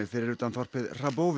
fyrir utan þorpið